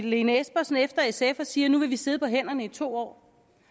lene espersen efter sf og siger at vi vil sidde på hænderne i to år